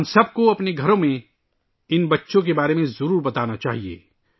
ہم سب کو اپنے گھروں میں ان بچوں کے بارے میں بتانا چاہیئے